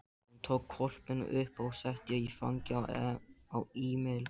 Hún tók hvolpinn upp og setti í fangið á Emil.